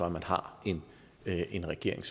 at man har en regering